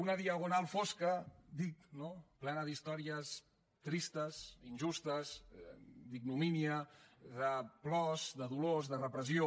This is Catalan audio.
una diagonal fosca dic no plena d’històries tristes injustes d’ignomínia de plors de dolors de repressió